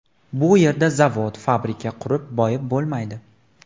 Bu yerda zavod, fabrika qurib boyib bo‘lmaydi.